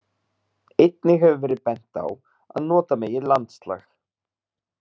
Einnig hefur verið bent á að nota megi landslag.